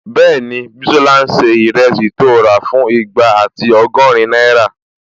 Bẹ́ẹ̀ni, Bísọ́lá n ṣe ìrẹsì tó rà fún igba ati ọgọ́rin náírà